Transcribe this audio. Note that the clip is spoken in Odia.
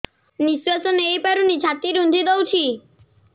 ନିଶ୍ୱାସ ନେଇପାରୁନି ଛାତି ରୁନ୍ଧି ଦଉଛି